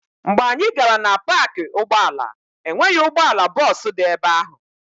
Mgbe anyị gara na paakị ụgbọala, e nweghị ụgbọala bọọsụ dị ebe ahụ.